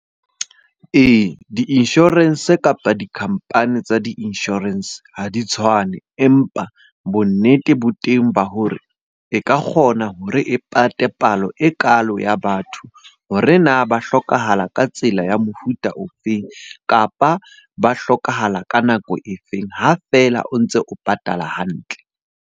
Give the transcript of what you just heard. Ee, di-insurance kapa di-company tsa di-insurance ha di tshwane. Empa bonnete bo teng ba hore e ka kgona hore e pate palo ekalo ya batho hore na ba hlokahala ka tsela ya mofuta o feng? Kapa ba hlokahala ka nako e feng? Ha feela o ntse o patala hantle.